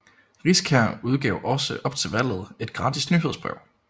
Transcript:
Riskær udgav også op til valget et gratis nyhedsbrev